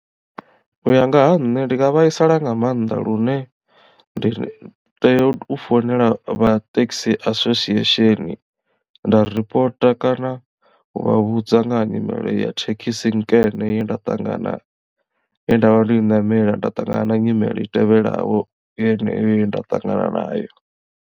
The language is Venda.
U ya nga ha nṋe ndi nga vhaisala nga maanḓa lune ndi tea u founela vha taxi association nda ripota kana u vha vhudza nga ha nyimele ya thekhisi nkene ye nda ṱangana ye ndavha ndo i ṋamela nda ṱangana na nyimele i tevhelaho yeneyo ye nda ṱangana nayo.